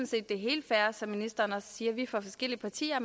set det er helt fair som ministeren også siger at vi er fra forskellige partier og